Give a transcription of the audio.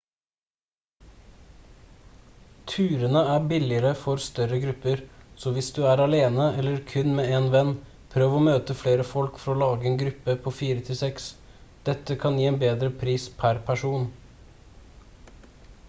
turene er billigere for større grupper så hvis du er alene eller kun med én venn prøv å møte flere folk for å lage en gruppe på fire til seks dette kan gi bedre pris per person